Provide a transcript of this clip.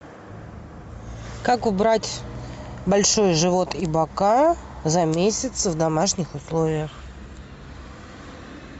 как убрать большой живот и бока за месяц в домашних условиях